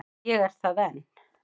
Ég er það enn.